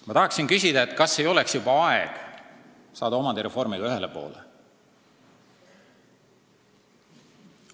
Ma tahan küsida, kas ei oleks juba aeg saada omandireformiga ühele poole.